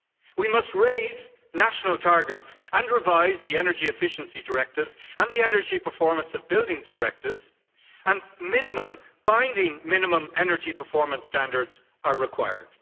We must raise national targets and revise the energy efficiency directives and the energy performance of buildings directives and binding minimum energy performance standards are required.